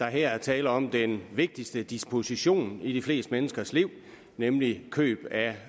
her er tale om den vigtigste disposition i de fleste menneskers liv nemlig køb af